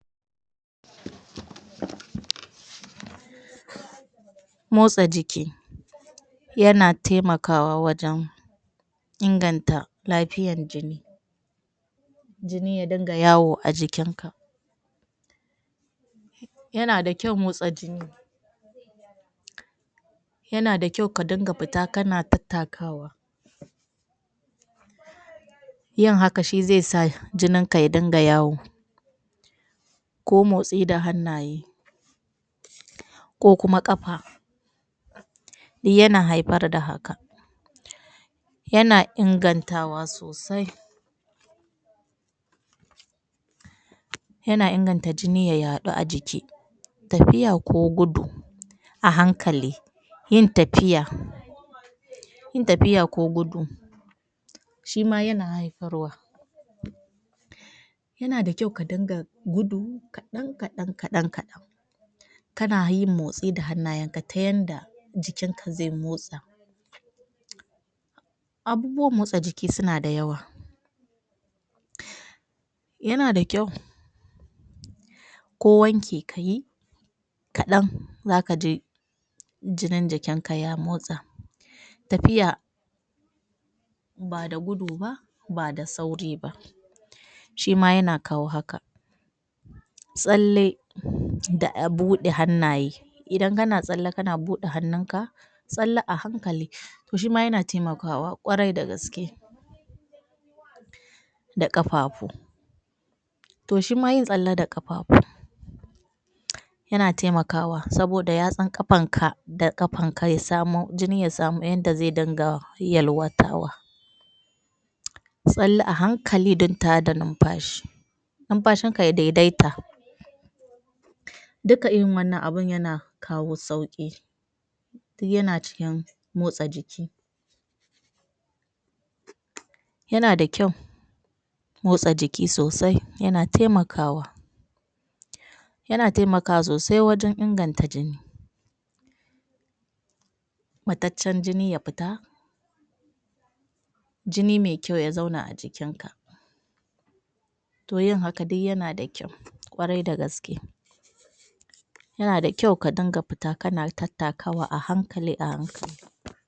motsa jiki yana taimakwa wajen inganta lafiyan jini jini ya dinga yawo a jikin ka yana da kyau motsa jini yana da kyau ka dinga fita kana tattakawa yin haka shi zai sa jinin ka ya dinga yawo ko motsi da hannaye ko kuma ƙafa yana haifar da haka yana ingantawa sosai yana inganta jini ya yaɗu a jiki tafiya ko gudu a hankali yin tafiya yin tafiya ko gudu shima yana haifarwa yana da kyau ka dinga gudu kaɗan kaɗan kaɗan kaɗan kana yin motsi da hannayen ka ta yanda jikin ka zai motsa abubuwan motsa jiki suna da yawa yana da kyau ko wanki kayi kaɗan zakaji jinin jikinka ya motsa tafiya ba da gudu ba ba da sauri ba shima yana kawo haka tsalle da a buɗe hannaye idan kana tsalle kana buɗe hannun ka tsalle a hankali shima yana taimakawa ƙwarai da gaske da ƙafafu toh shima yin tsalle da ƙafafu yana taimakawa saboda yatsun ƙafan ka da ƙafanka ya samo jini jina ya samu yanda zai dinga yalwatawa tsalle a hankali da tada numfashi numfashin ka ya daidaita duka irin wannan abun yana kawo sauƙi yana cikin motsa jiki yana da kyau motsa jiki sosai yana taimakawa yana taimakwa sosai wajen inganta jini mataccen jini ya fita jini me kyau ya zauna a jikin ka toh yin haka duk yana da kyau ƙwarai dagaske yana da kyau ka dinga fita kana tattakawa a hankali a hankali